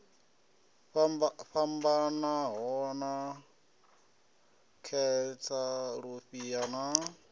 fhambanaho sa khentsa lufhia na